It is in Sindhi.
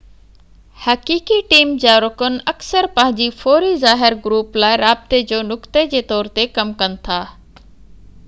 حقيقي ٽيم جا رڪن اڪثر پنهنجي فوري ظاهر گروپ لاءِ رابطي جو نقطي جي طور تي ڪم ڪن ٿا